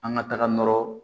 An ka taga nɔrɔ